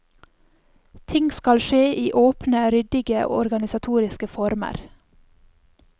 Ting skal skje i åpne, ryddige organisatoriske former.